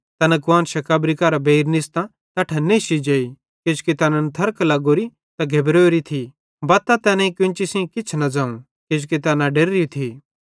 तैना कुआन्शां कब्री मरां बेइर निस्तां तैट्ठां नेश्शी जेई किजोकि तैनन् थर्क लग्गोरी त घेबरोरी थी बत्तां तैनेईं केन्ची सेइं किछ न ज़ोवं किजोकि तैना डेर्री थी